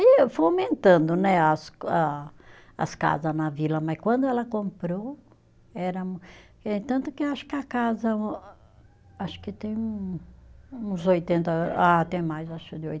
E foi aumentando né as a, as casa na vila, mas quando ela comprou era, eh tanto que acho que a casa acho que tem um, uns oitenta ah, até mais acho de